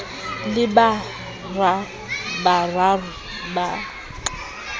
le ba bararo ba ka